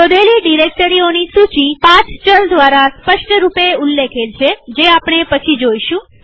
શોધેલી ડિરેક્ટરીઓની સૂચી પથ ચલ દ્વારા સ્પષ્ટરૂપે ઉલ્લેખેલ છેજે આપણે પછી જોઈશું